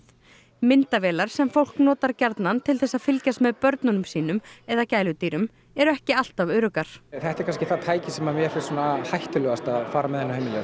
myndavélar sem fólk notar gjarnan til þess að fylgjast með börnum sínum eða gæludýrum eru ekki alltaf öruggar þetta er kannski það tæki sem mér finnst kannski svona hættulegast að fara með